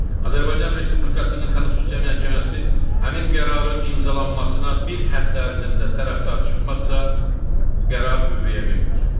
Azərbaycan Respublikasının Konstitusiya Məhkəməsi həmin qərarın imzalanmasına bir həftə ərzində tərəfdar çıxmasa, qərar qüvvəyə minmir.